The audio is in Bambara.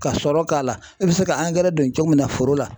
Ka sɔrɔ k'a la e bi se ka don cogo min na foro la.